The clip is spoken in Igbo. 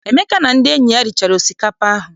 Emeka na ndị enyi ya richara osikapa ahụ.